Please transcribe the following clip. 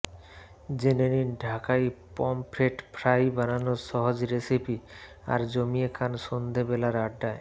জেনে নিন ঢাকাই পমফ্রেট ফ্রাই বানানোর সহজ রেসিপি আর জমিয়ে খান সন্ধে বেলার আড্ডায়